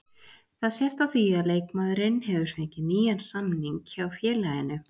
Það sést á því að leikmaðurinn hefur fengið nýjan samning hjá félaginu.